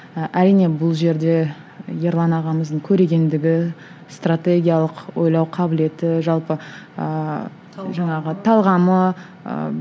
әрине бұл жерде ерлан ағамыздың көрегендігі стратегиялық ойлау қабілеті жалпы ыыы жаңағы талғамы ыыы